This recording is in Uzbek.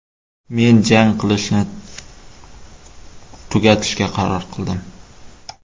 Men jang qilishni tugatishga qaror qildim.